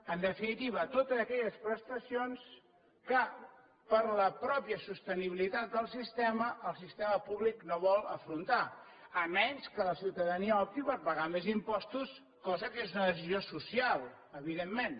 en definitiva a totes aquelles prestacions que per la pròpia sostenibilitat del sistema el sistema públic no vol afrontar tret que la ciutadania opti per pagar més impostos cosa que és una decisió social evidentment